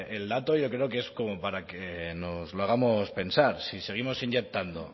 el dato yo creo que es como para que nos lo hagamos pensar si seguimos inyectando